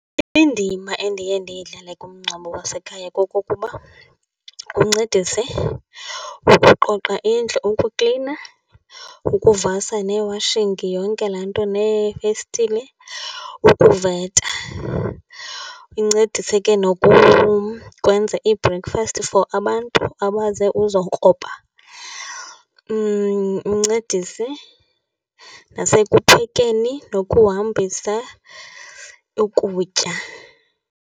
Indima endiye ndiyidlale kumngcwabo wasekhaya kokokuba uncedise ukuqoqa indlu, ukuklina, ukuvasa nee-washing, yonke laa nto neefestile, ukuveta. Uncedise ke kwenza i-breakfast for abantu abaze uzokroba, uncedise nasekuphekeni nokuhambisa ukutya.